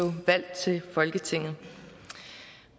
valgt til folketinget